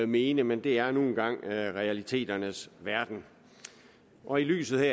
mene men det er nu engang realiteternes verden og i lyset